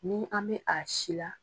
Ni an bɛ a si la